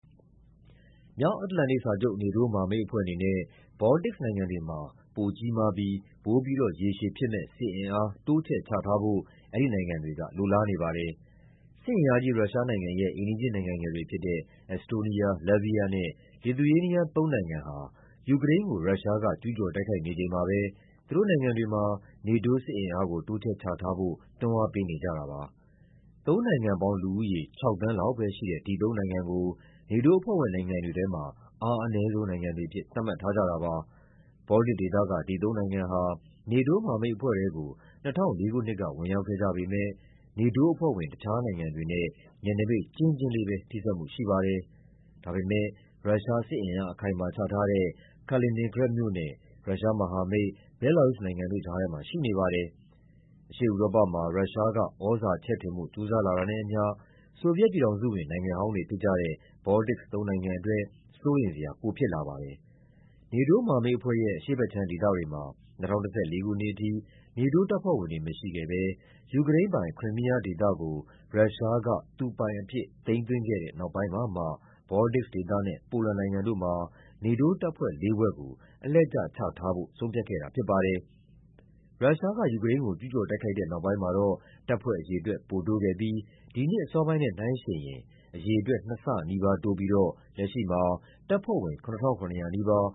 မြောက်အတ္တလန်တိတ်စာချုပ် NATO မဟာမိတ်အဖွဲ့အနေနဲ့ ဘော်လ်တစ်နိုင်ငံတွေမှာ ပိုကြီးမားပြီး ပိုပြီးတော့ ရေရှည်ဖြစ်မယ့် စစ်အင်အား တိုးချဲ့ချထားဖို့ အဲဒီနိုင်ငံတွေက လိုလားနေပါတယ်။ စစ်အင်အားကြီး ရုရှားနိုင်ငံရဲ့ အိမ်နီးချင်းနိုင်ငံငယ်တွေဖြစ်တဲ့ အက်စ်တိုးနီးယား၊ လတ်ဗီးယားနဲ့ လစ်သူယေးနီးယား သုံးနိုင်ငံဟာ ယူကရိန်းကို ရုရှားက ကျူးကျော်တိုက်ခိုက်နေချိန်မှာပဲ သူတို့နိုင်ငံတွေမှာ NATO စစ်အင်အား တိုးချဲ့ချထားဖို့ တွန်းအားပေးနေကြ တာပါ။ သုံးနိုင်ငံပေါင်းလူဦးရေ ၆ သန်းလောက်ပဲရှိတဲ့ ဒီသုံးနိုင်ငံကို NATO အဖွဲ့ဝင် နိုင်ငံတွေထဲမှာ အားအနည်းဆုံး နိုင်ငံတွေအဖြစ် သတ်မှတ်ထားကြတာပါ။ ဘော်လ်တစ်ဒေသ ဒီ သုံးနိုင်ငံဟာ NATO မဟာမိတ်အဖွဲ့ထဲကို ၂၀၀၄ ခုနှစ်က ဝင်ရောက်ခဲ့ကြပေမယ့် NATO အဖွဲ့ဝင် တခြားနိုင်ငံတွေနဲ့ နယ်နိမိတ်ကျဉ်းကျဉ်းလေးပဲ ထိစပ်မှုရှိပါတယ်။ ဒါပေမယ့် ရုရှားစစ်အင်အား အခိုင်အမာချထားတဲ့ Kaliningrad မြို့နဲ့ ရုရှားမဟာမိတ် ဘဲလာရုစ်နိုင်ငံတို့ကြားထဲမှာ ရှိနေပါတယ်။ အရှေ့ဥရောပမှာ ရုရှားက သြဇာချဲ့ထွင်ဖို့ ကြိုးစားလာတာနဲ့အမျှ ဆိုဗီယက်ပြည်ထောင်စုဝင် နိုင်ငံဟောင်းတွေဖြစ်ကြတဲ့ ဘော်လ်တစ် သုံးနိုင်ငံအတွက် စိုးရိမ်စရာပိုဖြစ်လာပါတယ်။ NATO မဟာမိတ်အဖွဲ့ရဲ့ အရှေ့ဘက်ခြမ်းဒေသတွေမှာ ၂၀၁၄ ခုနှစ်အထိ NATO တပ်ဖွဲ့ဝင်တွေမရှိခဲ့ဘဲ ယူကရိန်းပိုင် Crimea ဒေသကို ရုရှားက သူပိုင်အဖြစ် သိမ်းသွင်းခဲ့တဲ့နောက်ပိုင်းမှာမှ ဘော်လ်တစ်ဒေသနဲ့ ပိုလန်နိုင်ငံတို့မှာ NATO တပ်ဖွဲ့လေးဖွဲ့ကို အလှည့်ကျချထားဖို့ ဆုံးဖြတ်ခဲ့တာဖြစ်ပါတယ်။ ရုရှားက ယူကရိန်းကို ကျူးကျော်တိုက်ခိုက် တဲ့နောက်ပိုင်းမှာတော့ တပ်ဖွဲ့အရေ အတွက် ပိုတိုးခဲ့ပြီး ဒီနှစ်အစောပိုင်းနဲ့နှိုှုင်းယှဉ်ရင် အရေအတွက် နှစ်ဆနီးပါးတိုးပြီးတော့ လက်ရှိမှာ တပ်ဖွဲ့ဝင် ၇,၇၀၀ နီးပါး